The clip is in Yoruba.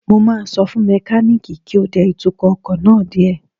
Mo máa sọ fún mẹkánìkì náà kí ó dẹ ìtukọ̀ ọkọ̀ náà díẹ̀